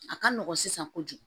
A ka nɔgɔn sisan kojugu